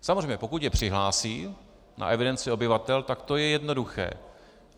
Samozřejmě, pokud je přihlásí na evidenci obyvatel, tak to je jednoduché.